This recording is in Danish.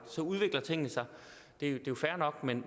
så udvikler tingene sig og det er jo fair nok men